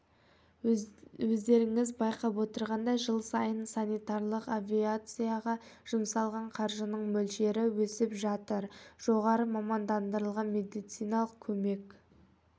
өздеріңіз байқап отырғандай жыл сайын санитарлық авиацияға жұмсалған қаржының мөлшері өсіп жатыр жоғары мамандандырылған медициналық көмек